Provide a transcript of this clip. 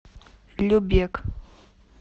любек